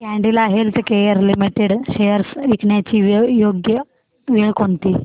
Cadila healthcare limited shares विकण्याची योग्य वेळ कोणती